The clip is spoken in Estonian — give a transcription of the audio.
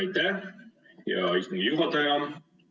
Aitäh, hea istungi juhataja!